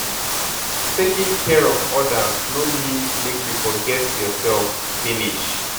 Taking care of others no mean make you forget yourself finish.